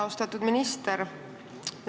Austatud minister!